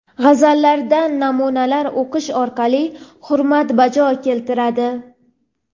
g‘azallaridan namunalar o‘qish orqali hurmat bajo keltiradi.